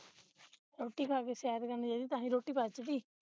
ਰੋਟੀ ਖਾ ਕੇ ਸੈਰ ਕਰਨ ਜਾਈਏ ਤਾਂ ਹੀ ਰੋਟੀ ਪਚਦੀ